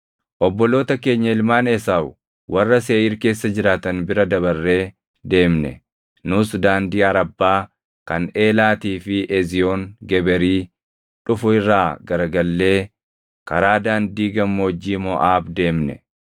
Obboloota keenya ilmaan Esaawu warra Seeʼiir keessa jiraatan bira dabarree deemne. Nus daandii Arabbaa kan Eelaatii fi Eziyoon Geberii dhufu irraa garagallee karaa daandii gammoojjii Moʼaab deemne.